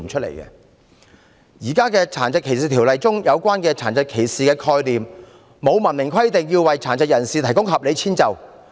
現時《殘疾歧視條例》中有關殘疾歧視的概念沒有明文規定要為殘疾人士提供合理遷就。